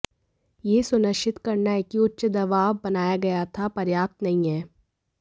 यह सुनिश्चित करना है कि उच्च दबाव बनाया गया था पर्याप्त नहीं है